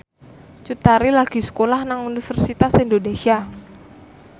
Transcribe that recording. Cut Tari lagi sekolah nang Universitas Indonesia